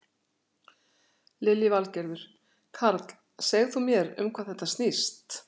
Lillý Valgerður: Karl, segð þú mér um hvað þetta snýst?